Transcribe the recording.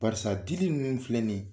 Barisa dili ninnu filɛ nin ye.